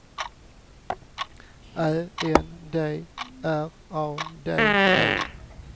Ä N D R A D E